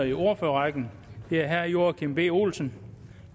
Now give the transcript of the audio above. i ordførerrækken og det er herre joachim b olsen